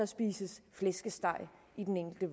spises flæskesteg i den enkelte